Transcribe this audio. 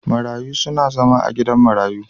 Marayu suna zama a gidan marayu.